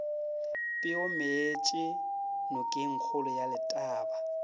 peo meetše nokengkgolo ya letaba